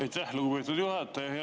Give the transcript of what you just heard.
Aitäh, lugupeetud juhataja!